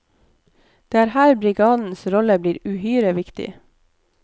Det er her brigadens rolle blir uhyre viktig.